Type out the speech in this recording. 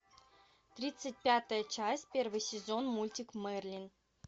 тридцать пятая часть первый сезон мультик мерлин